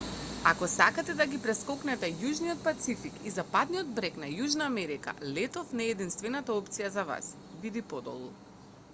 ако сакате да ги прескокнете јужниот пацифик и западниот брег на јужна америка летов не е единствената опција за вас. види подолу